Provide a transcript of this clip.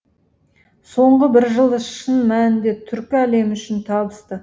соңғы бір жыл шын мәнінде түркі әлемі үшін табысты